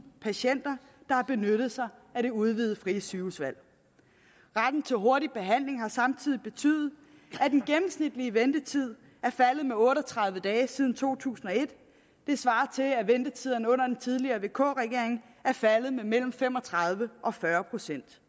patienter der har benyttet sig af det udvidede frie sygehusvalg retten til hurtig behandling har samtidig betydet at den gennemsnitlige ventetid er faldet med otte og tredive dage siden to tusind og et det svarer til at ventetiderne under den tidligere vk regering er faldet med mellem fem og tredive og fyrre procent